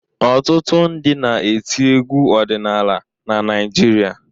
Ọtụtụ ndị na-eti egwu ọdịnala na Naịjirịa.